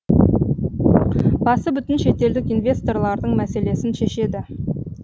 басы бүтін шетелдік инвесторлардың мәселесін шешеді